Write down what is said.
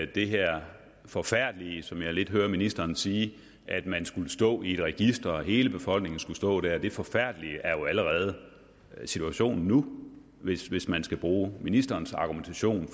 det her forfærdelige som jeg lidt hører ministeren sige at man skulle stå i et register at hele befolkningen skulle stå der det forfærdelige er jo allerede situationen nu hvis hvis man skal bruge ministerens argumentation